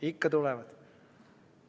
Ikka tulevad.